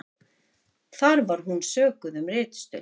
Þar var hún sökuð um ritstuld